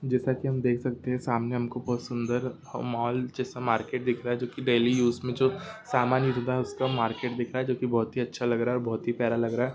जैसा कि हम देख सकते हैं सामने हमको बहुत सुंदर ह- मॉल जैसा मार्केट दिख रहा है जो कि डेली यूज में जो समान यूज होता है उसका मार्केट दिख रहा है जो कि बहुत अच्छा लग रहा है बहुत ही प्यारा लग रहा है।